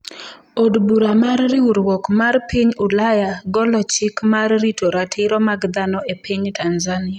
Od bura mar Riwruok mar Piny Ulaya golo chik mar rito ratiro mag dhano e piny Tanzania